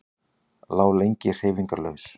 Lá lengi hreyfingarlaus.